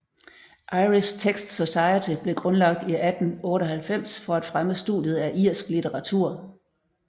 Irish Texts Society blev grundlagt i 1898 for at fremme studiet af irsk litteratur